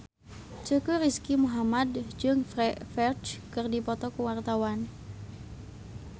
Teuku Rizky Muhammad jeung Ferdge keur dipoto ku wartawan